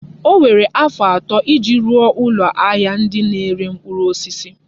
O were afọ atọ iji rụọ ụlọ ahịa ndị na-ere mkpụrụ osisi.